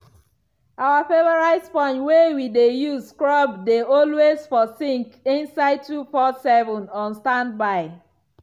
our favourite sponge wey we dey use scrub dey always for sink side 24/7 on standby.